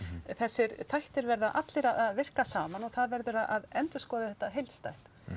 þessir þættir verða allir að virka saman og það verður að endurskoða þetta heildstætt